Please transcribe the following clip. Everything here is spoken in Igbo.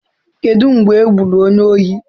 Kedu mgbe e gburu onye ohi?